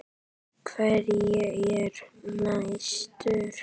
Hver er næstur?